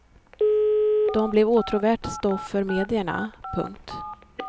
De blev åtråvärt stoff för medierna. punkt